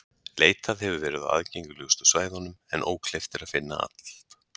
leitað hefur verið á aðgengilegustu svæðunum en ókleift er að finna allt